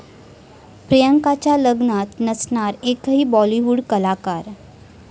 प्रियंकाच्या लग्नात नसणार एकही बॉलिवूड कलाकार